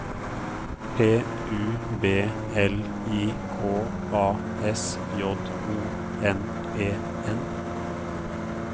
P U B L I K A S J O N E N